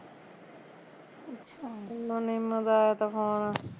ਮੈਨੂੰ ਨਿਮ ਦਾ ਆਇਆ ਤਾਂ phone